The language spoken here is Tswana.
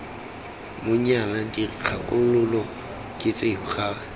monyana dikgakololo ke tseo ga